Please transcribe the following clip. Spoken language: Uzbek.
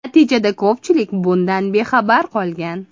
Natijada ko‘pchilik bundan bexabar qolgan.